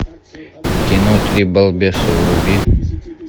кино три балбеса вруби